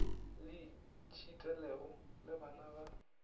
le tšhitelego le bana ba